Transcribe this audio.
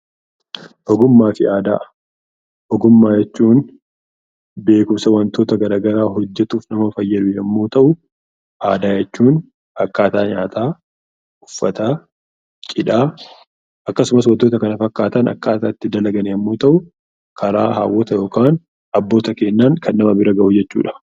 Ogummaa fi aadaa Ogummaa jechuun beekumsa wantoota gara garaa hojjetuuf nama fayyadu yommuu ta'uu; Aadaa jechuun akkaataa nyaataa, Uffataa, Cidhaa akkasumas wantoota kana fakkaatan akkaataa itti dalagan yommuu ta'u, karaa hawwoota yookaan abboota keenyaan kan nama bira gahu jechuu dha.